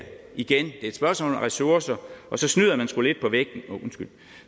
igen et spørgsmål om ressourcer og så snyder man sgu lidt på vægten undskyld